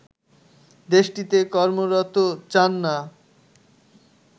দেশটিতে কর্মরত চান না